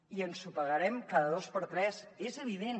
i ensopegarem cada dos per tres és evident